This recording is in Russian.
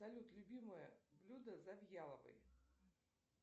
салют любимое блюдо завьяловой